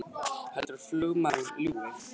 Heldurðu að flugmaðurinn ljúgi!